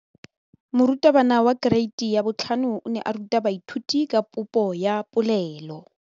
Moratabana wa kereiti ya 5 o ne a ruta baithuti ka popô ya polelô.